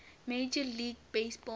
major league baseball